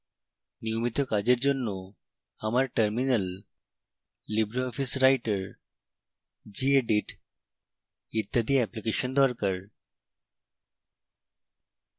নিয়মিত কাজের জন্য আমার terminal libreoffice writer gedit ইত্যাদি অ্যাপ্লিকেশন দরকার